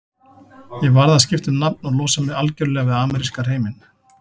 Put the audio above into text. Ég varð að skipta um nafn og losa mig algjörlega við ameríska hreiminn.